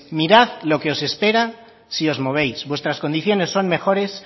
mirad lo que os espera si os movéis vuestras condiciones son mejores